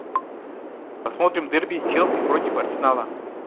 посмотрим дерби челси против арсенала